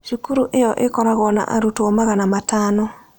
Cukuru ĩyo ĩkoragwo na arutwo magana matano.